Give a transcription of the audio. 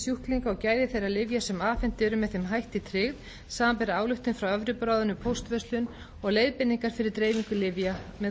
og gæði þeirra lyfja sem afhent eru með þeim hætti tryggð samanber ályktun frá evrópuráðinu um póstverslun og leiðbeiningar fyrir dreifingu lyfja með